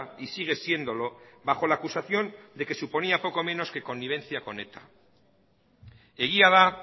y sigue siéndolo bajo la acusación de que suponía poco menos que connivencia con eta egia da